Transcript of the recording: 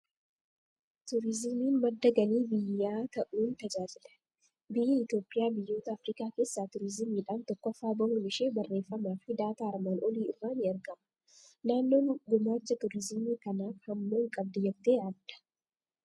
Turizimiin madda galii biyyaa ta'uun tajaaajila. Biyyi Itoophiyaa biyyoota Afrikaa keessaa turizimiidhaan tokkoffaa bahuun ishii barreeffamaa fi daataa armaan olii irra ni argama. Naannoon gumaacha turizimii kanaaf hammam qabdi jettee yaadda?